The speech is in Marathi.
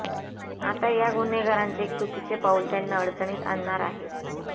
आता या गुन्हेगारांचे एक चुकीचे पाऊल त्यांना अडचणीत आणणार आहे